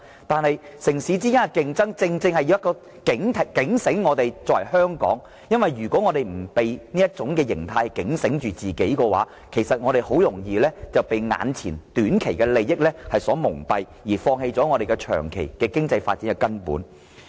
但是，城市之間的競爭卻正好警醒香港，因為如果香港不被警醒，那麼香港便很容易被眼前短期的利益所蒙蔽，從而放棄了香港根本的長遠經濟發展。